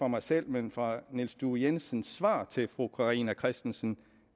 mig selv men fra niels due jensens svar til fru carina christensen